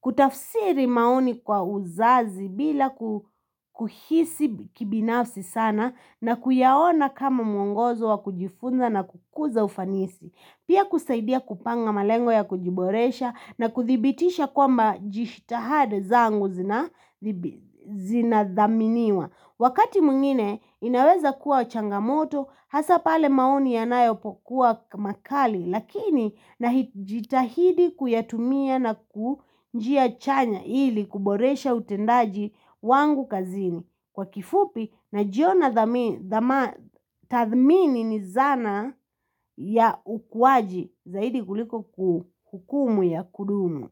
Kutafsiri maoni kwa uzazi bila kuhisi kibinafsi sana na kuyaona kama mwongozo wa kujifunza na kukuza ufanisi. Pia kusaidia kupanga malengo ya kujiboresha na kuthibitisha kwa mba jishitahada zangu zinadhaminiwa. Wakati mwngine inaweza kuwa changamoto hasa pale maoni yanayo pokuwa makali lakini na jitahidi kuyatumia na kujia chanya ili kuboresha utendaji wangu kazini kwa kifupi na jiona dhama. Tathmini ni zana. Ya ukuwaji zaidi kuliko hukumu ya kudumu.